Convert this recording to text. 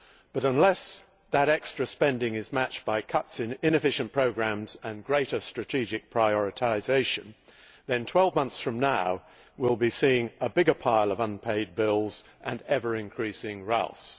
but unless that extra spending is matched by cuts in inefficient programmes and greater strategic prioritisation, then 12 months from now we will be seeing a bigger pile of unpaid bills and ever increasing rows.